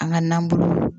An ka nanbolo